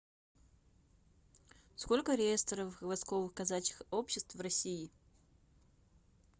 сколько реестровых войсковых казачьих обществ в россии